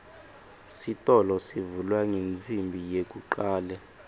sitolo sivulwa ngensimbi yekucale